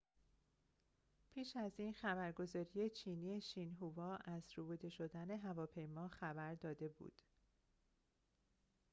پیش از این خبرگزاری چینی شینهووا از ربوده شدن هواپیما خبر داده بود